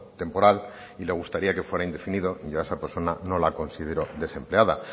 temporal y le gustaría que fuera indefinido yo esa persona no la considero desempleada